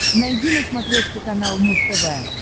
найди на смотрешке канал муз тв